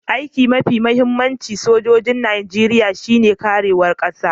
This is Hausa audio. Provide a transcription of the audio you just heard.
Aiki'n mafi muhimmancin sojoji'n Nijeriya shine karewan Kasan.